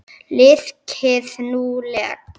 Liðkið nú legg!